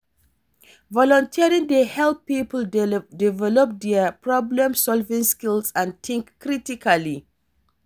Volunteering dey help people develop dia problem-solving skills and think critically.